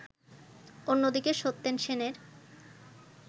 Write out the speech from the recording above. অন্যদিকে সত্যেন সেনের